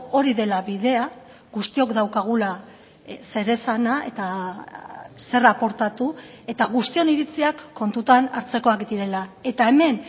hori dela bidea guztiok daukagula zeresana eta zer aportatu eta guztion iritziak kontutan hartzekoak direla eta hemen